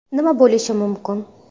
Nima bo‘lishi mumkin?